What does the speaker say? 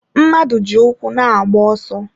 Mmadụ ji ụkwụ na-agba ọsọ.